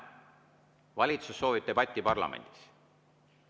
Valitsus soovib debatti parlamendis.